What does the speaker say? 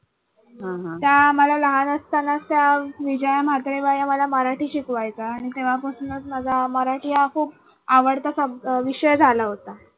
त्या मला लहान असतानाच त्या विजया म्हात्रे बाई आम्हाला मराठी शिकवायच्या आणि तेव्हापासूनच माझा मराठी हा खूप आवडता sub विषय झाला होता.